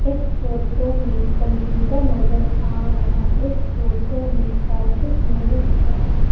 इस फोटो में कंप्यूटर नजर आ रहा इस फोटो में ऑफिस नजर आ रहा--